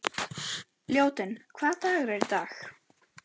Ljótunn, hvaða dagur er í dag?